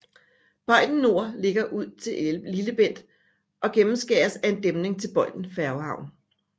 Bøjden Nor ligger ud til Lillebælt og gennemskæres af en dæmning til Bøjden Færgehavn